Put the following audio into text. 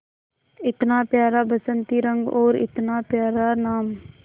इतना प्यारा बसंती रंग और इतना प्यारा नाम